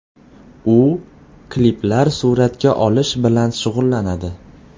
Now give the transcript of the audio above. U kliplar suratga olish bilan shug‘ullanadi.